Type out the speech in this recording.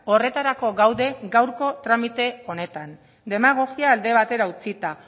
horretarako gaude gaurko tramite honetan demagogia alde batera utzita